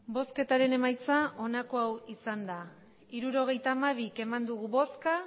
hirurogeita hamabi eman dugu bozka